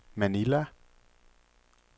Manila